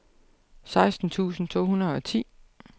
seksten tusind to hundrede og ti